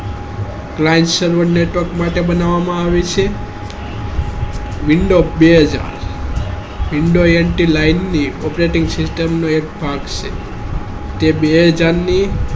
client server data માટે બનાવા માં આવે છે માટે બનાવા માં આવે છે window base window nt line ની operating system નો એક ભાગ છે તે બે હાજર ની ની operating system નો એક ભાગ છે તે બે હાજર ની